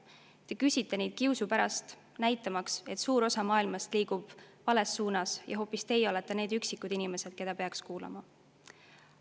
Te küsite neid küsimusi kiusu pärast, näitamaks, et suur osa maailmast liigub vales suunas ja hoopis teie olete need üksikud inimesed, keda peaks kuulama.